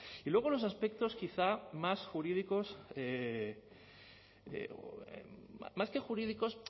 y luego los aspectos quizá más jurídicos más que jurídicos